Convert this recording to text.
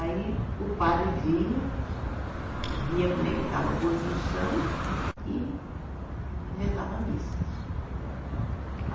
Aí o padre vinha, via como é que estava a construção e rezava a missa.